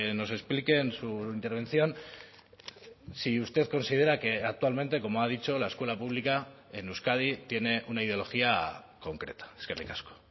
nos explique en su intervención si usted considera que actualmente como ha dicho la escuela pública en euskadi tiene una ideología concreta eskerrik asko